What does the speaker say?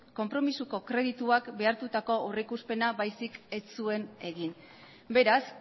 konpromisoko kredituak behartutako aurrikuspena baizik ez zuen egin beraz